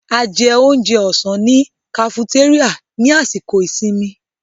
A jẹ oúnjẹ ọ̀sán ní kafutéríà ní àsìkò ìsinmi.